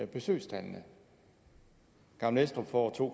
besøgstallene gammel estrup får to